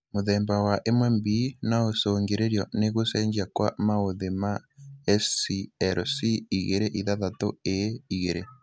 Mũthemba wa 1B noũcũngĩrĩrio nĩ gũcenjia kwa maũthĩ ma SLC26A2